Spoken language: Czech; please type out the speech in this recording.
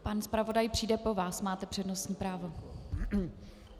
Pan zpravodaj přijde po vás, máte přednostní právo.